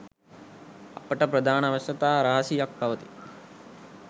අපට ප්‍රධාන අවශ්‍යතා රාශියක් පවතී.